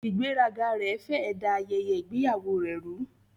Ìgbéraga rẹ̀ fẹ́ ẹ̀ da ayẹyẹ ìgbéyàwó rẹ rú.